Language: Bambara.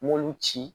N m'olu ci